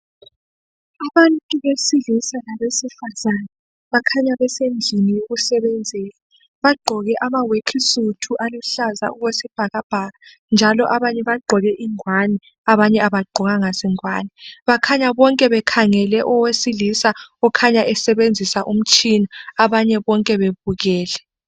Abantu besilisa labesifazana bakhanya basendlini yokusebenzela bagqoke amaworksuit aluhlaza okwesibhakabhaka njalo abanye bagqoke ingwane abanye abagqokanga zingwane bakhanya bonke bekhangele owesilisa kukhanya esebenzisa umtshina abanye bonke bebukele.